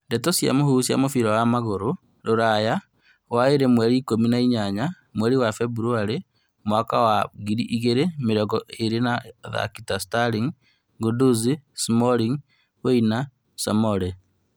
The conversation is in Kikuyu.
Ndeto cia mũhuhu cia mũbira wa magũrũ Rũraya waĩrĩ mweri ikũmi na inyanya mweri wa Februarĩ mwaka wa ngiri igĩrĩ mĩrongo ĩrĩ athaki ta Sterling, Guendouzi, Smalling, Werner, Soumare